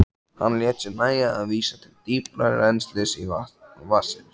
Hann lét sér nægja að vísa til dýpra rennslis vatnsins.